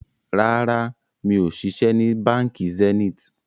Rárá, mi ò ṣiṣẹ́ ni Báńkì Zenith